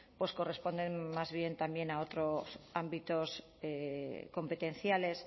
corresponden más bien a otros ámbitos competenciales